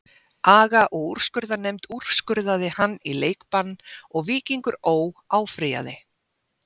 Aga og úrskurðarnefnd úrskurðaði hann í leikbann og Víkingur Ó. áfrýjaði.